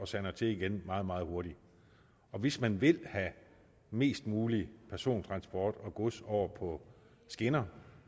sander til igen meget meget hurtigt hvis man vil have mest mulig persontransport og gods over på skinner